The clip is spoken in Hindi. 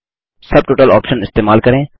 सब टोटल ऑप्शन इस्तेमाल करें